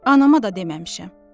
Anama da deməmişəm.